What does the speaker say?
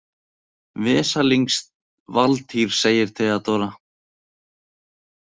Vesalings Valtýr, segir Theodóra.